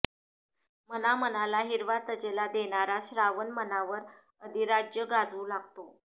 मनामनाला हिरवा तजेला देणारा श्रावण मनावर अधिराज्य गाजवू लागतो